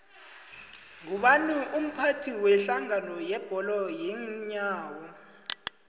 ngubani umphathi wedlangano yebholo yeenyawo